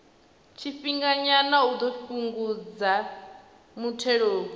tshifhinganyana u ḓo fhungudza muthelogu